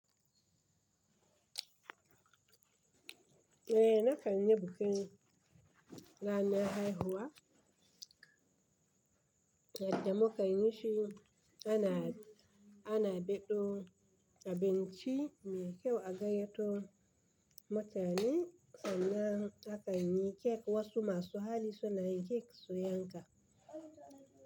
Eh, na kan yi bukin ranar haihuwa, yadda muka yi shi ana, ana baɗo abinci mai kyau a gayyato mutane sannan aka yi kek wasu masu hali suna yin kek su yanka.